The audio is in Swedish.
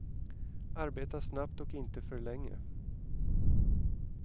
Arbeta snabbt och inte för länge.